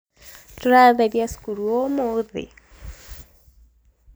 tũratheria cukuru ũmũthĩ